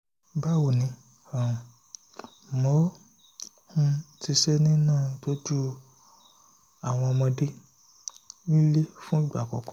báwo ni um mò um ń ṣiṣẹ́ nínú ìtọ́jú àwọn ọmọdé nílé fún ìgbà àkọ́kọ́